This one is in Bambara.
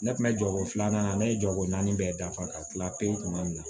Ne kun bɛ jɔ ko filanan na ne ye jɔgo naani bɛɛ dafa ka kila pewu kuma min na